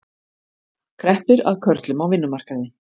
Kreppir að körlum á vinnumarkaði